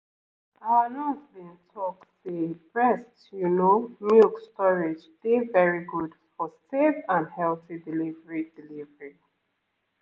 our nurse been talk say breast you know milk storage dey very good for safe and healthy delivery delivery